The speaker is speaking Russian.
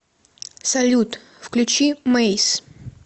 салют включи мэйс